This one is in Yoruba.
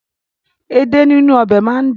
Èdè nínú ọbẹ̀ máa ń dùn.